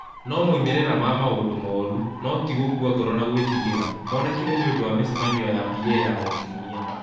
No moimĩrĩra ma maũndũ moru, no ti gũkua ngoro na gwĩtigĩra, monekire nĩ ũndũ wa mĩcemanio ya PA ya o kiumia.